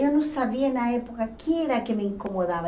Eu não sabia na época o que era que me incomodava.